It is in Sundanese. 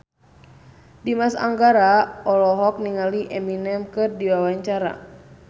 Dimas Anggara olohok ningali Eminem keur diwawancara